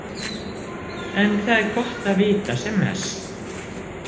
En það er gott að vita sem mest.